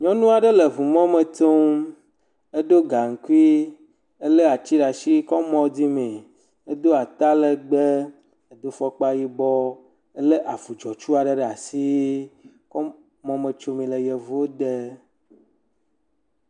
Nyɔnu aɖe le eŋumɔme tsom. Edo gaŋkui. Ele atsi ɖe asi kɔ mɔ dzimee. Edo atalegbe, edo fɔkpa yibɔ, ele avu dzɔtsu aɖe ɖe asi kɔ mɔ mɔme tsomee le yevuwode.